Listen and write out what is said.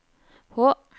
H